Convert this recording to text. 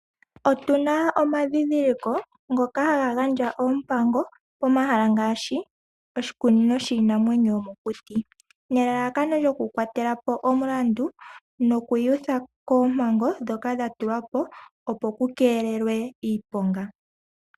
Otuna omandhindhiliko ngoka haga gandja oompango pomahala ngaashi oshikunino shiinamwenyo yomokuti, nelalakano lyokukwatela po omulandu noku iyutha koompango ndhoka dha tulwa po opo ku keelelwe iiponga.